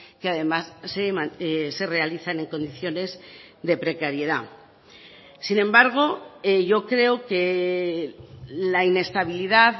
que además se realizan en condiciones de precariedad sin embargo yo creo que la inestabilidad